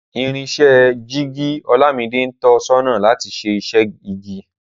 Irinṣẹ́ jíìgì Olámidé ń tọ sọ́nà láti ṣe iṣẹ́ igi